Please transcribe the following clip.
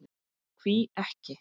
Hví ekki?